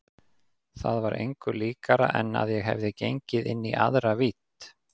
Það var engu líkara en að ég hefði gengið inn í aðra vídd.